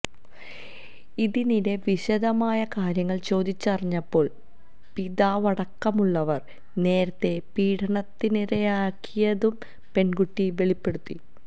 ഇതിനിടെ വിശദമായി കാര്യങ്ങൾ ചോദിച്ചറിഞ്ഞപ്പോൾ പിതാവടക്കമുള്ളവർ നേരത്തെ പീഡനത്തിനിരയാക്കിയതും പെൺകുട്ടി വെളിപ്പെടുത്തി